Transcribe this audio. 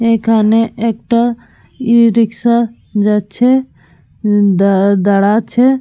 এখানে একটা e rickshaw যাচ্ছে এবং দারা দাঁড়াচ্ছে ।